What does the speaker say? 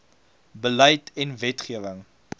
beleid en wetgewing